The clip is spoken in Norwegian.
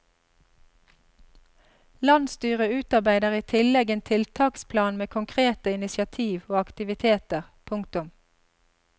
Landsstyret utarbeider i tillegg en tiltaksplan med konkrete initiativ og aktiviteter. punktum